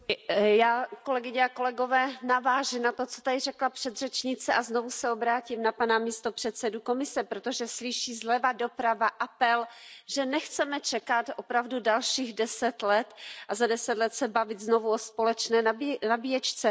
Paní předsedající, já navážu na to, co tady řekla předřečnice, a znovu se obrátím na pana místopředsedu Komise, protože slyší zleva doprava apel, že nechceme čekat opravdu dalších deset let a za deset let se bavit znovu o společné nabíječce.